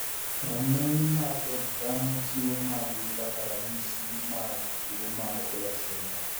Ramney mar dend dhano chiwo maagi kaka ranyisi mag tuo mar Behr syndrome.